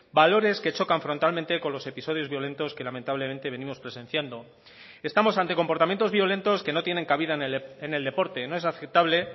valores que chocan frontalmente con los episodios violentos que lamentablemente venimos presenciando estamos ante comportamientos violentos que no tienen cabida en el deporte no es aceptable